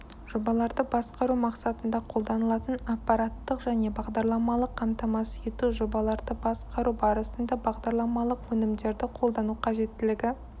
жобаларды басқару мақсатында қолданылатын аппараттық және бағдарламалық қамтамасыз ету жобаларды басқару барысында бағдарламалық өнімдерді қолдану қажеттілігі